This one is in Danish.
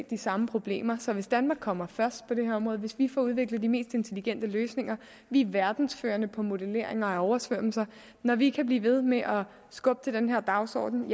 de samme problemer så hvis danmark kommer først på det her område hvis vi får udviklet de mest intelligente løsninger vi er verdensførende på modelleringer af oversvømmelser og når vi kan blive ved med at skubbe til den her dagsorden